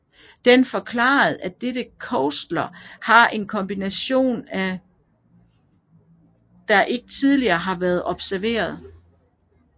Den forklarede at dette cluster har en kombination af mutationer der ikke tidligere var blevet observeret